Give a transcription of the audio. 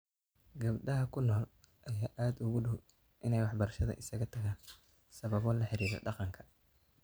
Gabdhaha ku nool ayaa aad ugu dhow in ay waxbarashada isaga tagaan sababo la xiriira dhaqanka.